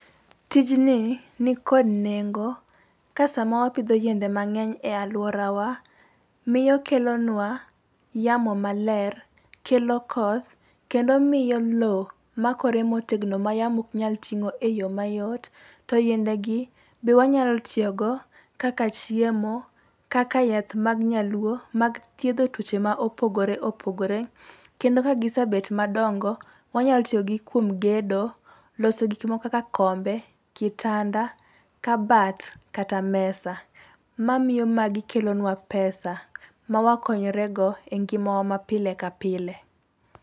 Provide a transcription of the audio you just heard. Tijni, ni kod nengo ka sama wapidho yiende mang'eny e alworawa, miyo okelonwa yamo maler, kelo koth ,kendo miyo loo makore motegno ma yamo ok nyal ting'o e yoo mayot. To yiendegi, be wanyalo tiyogo kaka chiemo, kaka yath mag nyaluo ,mag thiedho tuoche ma opogoreopogore, kendo ka gisebet madongo, wanyalo tiyogi kuom gedo, loso gik moko kaka kombe, kitanda , kabat, kata mesa. Mamiyo magi kelonwa pesa mawakonyrego e ngimawa ma pile ka pile.